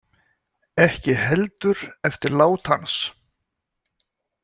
Ekki heldur eftir lát hans.